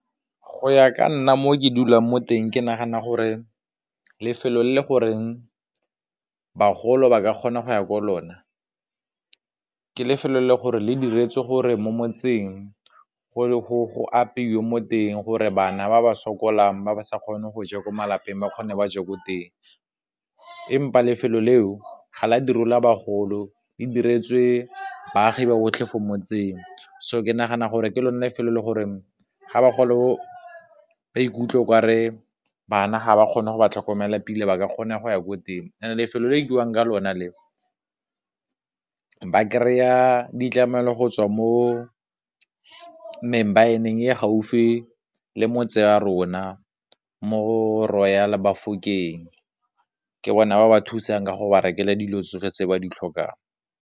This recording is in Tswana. Go ya ka nna mo ke dulang mo teng ke nagana gore lefelo le le goreng bagolo ba ka kgona go ya kwa lona ke lefelo le gore le diretswe gore mo motseng go ka apeiwa mo teng gore bana ba ba sokolang ba ba sa kgone go ja ko malapeng ba kgone ba je ko teng, empa lefelo leo ga la direla bagolo, le diretswe baagi ba otlhe fo motseng, so ke nagana gore ke lone lefelo le gore, ga bagolo ba ikutlwe kwa re banna ga ba kgone go ba tlhokomela pila ba ka kgona go ya ko teng, and lefelo le rekiwang ka lona le ba kry-a ditlamelo go tswa mo e neng e gaufi le motse wa rona mo Royal Bafokeng, ke bona ba ba thusang ka go ba rekele dilo tsotlhe tse ba di tlhokang.